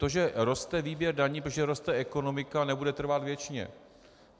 To, že roste výběr daní, protože roste ekonomika, nebude trvat věčně.